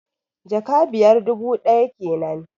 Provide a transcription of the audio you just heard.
Jaka biyar, dubu ɗaya kenan